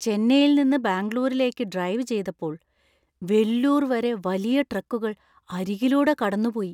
ചെന്നൈയിൽ നിന്ന് ബാംഗ്ലൂരിലേക്ക് ഡ്രൈവ് ചെയ്തപ്പോൾ വെല്ലൂർ വരെ വലിയ ട്രക്കുകൾ അരികിലൂടെ കടന്നുപോയി.